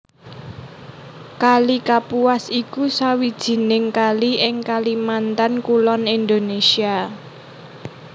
Kali Kapuas iku sawijining kali ing Kalimantan Kulon Indonesia